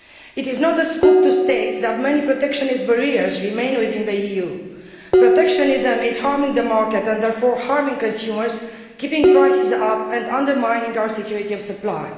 It is not a scoop to state that many protectionist barriers remain within the EU. Protectionism is harming the market and therefore harming consumers, keeping prices up and undermining our security of supply.